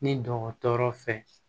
Ni dɔgɔtɔrɔ fɛ